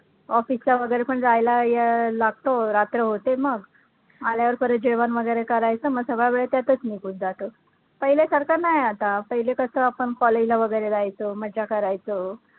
office ला वैगरे पण जायला या लागतं, रात्र होते मग, आल्यावर परत जेवण वैगरे करायचं मग सगळा वेळ त्यातचं निघून जातो. पहिल्यासारखं नाही आता, पहिले कसं आपणं college ला वैगरे जायचो, मज्जा करायचो.